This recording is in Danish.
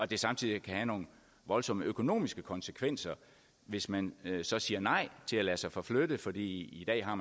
det samtidig kan have nogle voldsomme økonomiske konsekvenser hvis man så siger nej til at lade sig forflytte for i dag har